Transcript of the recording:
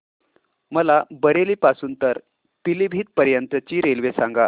मला बरेली पासून तर पीलीभीत पर्यंत ची रेल्वे सांगा